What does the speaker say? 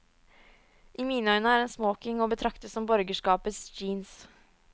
I mine øyne er en smoking å betrakte som borgerskapets jeans.